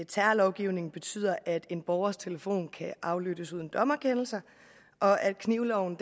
terrorlovgivningen betyder at en borgers telefon kan aflyttes uden dommerkendelse og at knivloven